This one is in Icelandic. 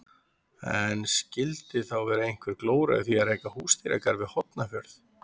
En skildi þá vera einhver glóra í því að reka húsdýragarð við Hornafjörð?